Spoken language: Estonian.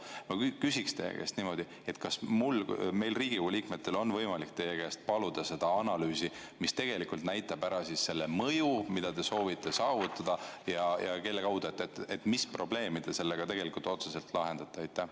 Ma küsiksin teie käest niimoodi: kas meil, Riigikogu liikmetel, on võimalik teie käest paluda seda analüüsi, mis tegelikult näitab ära selle mõju, mida te soovite saavutada, ja mis probleemi te sellega otseselt lahendate?